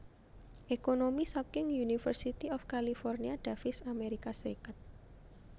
Ekonomi saking University of California Davis Amerika Serikat